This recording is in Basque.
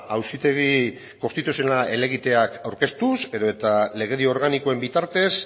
auzitegi konstituzionala helegiteak aurkeztuz edo eta legedi organikoen bitartez